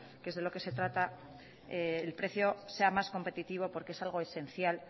que es de lo que se trata el precio sea más competitivo porque es algo esencial